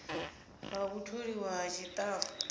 ha u tholiwa ha tshitafu